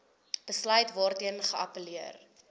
besluit waarteen geappelleer